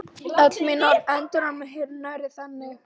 Öll orð mín verða endurómur hinnar nærandi þagnar hennar.